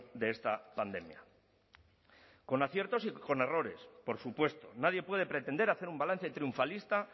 de esta pandemia con aciertos y con errores por supuesto nadie puede pretender hacer un balance triunfalista